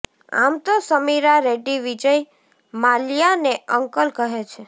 આમ તો સમીરા રેડ્ડી વિજય માલ્યાને અંકલ કહે છે